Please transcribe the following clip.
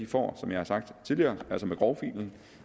får som jeg har sagt tidligere med grovfilen